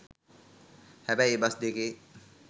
හැබැයි ඒ බස් දෙකේ